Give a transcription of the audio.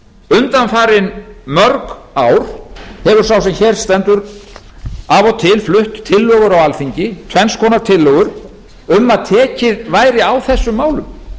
undanfarin mörg ár hefur sá sem hér stendur af og til flutt tillögur á alþingi tvenns konar tillögur um að tekið væri á þessum málum